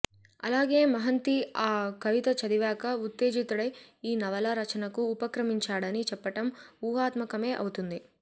అలాగే మహంతి ఆ కవిత చదివాక ఉత్తేజితుడై ఈ నవలా రచనకు ఉపక్రమించాడని చెప్పటం ఊహాత్మకమే అవుతుంది